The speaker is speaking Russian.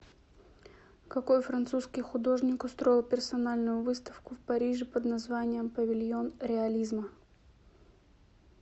какой французский художник устроил персональную выставку в париже под названием павильон реализма